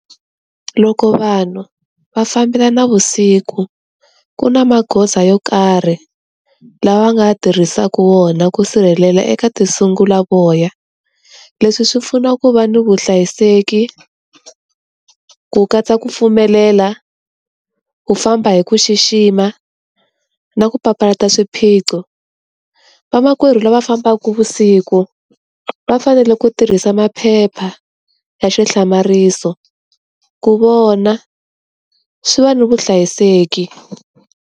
Loko vanhu va fambela na vusiku, ku na magoza yo karhi lawa va nga tirhisaka wona ku sirhelela eka tinsulavoya. Leswi swi pfuna ku va ni vuhlayiseki, ku katsa ku pfumelela, ku famba hi ku xixima, na ku papalata swiphiqo. Vamakwerhu lava fambaku vusiku, va fanele ku tirhisa maphepha ya xihlamariso ku vona. Swi va na vuhlayiseki.